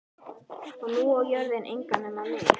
Og nú á jörðin engan að nema mig.